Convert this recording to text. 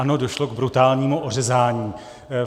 Ano, došlo k brutálnímu ořezání.